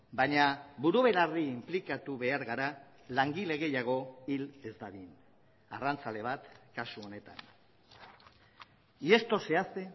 baina buru belarri inplikatu behar gara langile gehiago hil ez dadin arrantzale bat kasu honetan y esto se hace